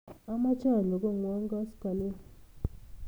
Amache anyon kong'wong' koskoling'